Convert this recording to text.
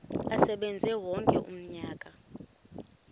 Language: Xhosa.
asebenze wonke umnyaka